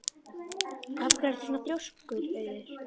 Af hverju ertu svona þrjóskur, Auður?